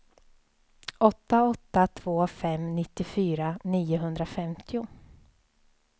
åtta åtta två fem nittiofyra niohundrafemtio